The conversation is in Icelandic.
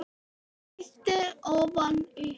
Kíkti ofan í næstu.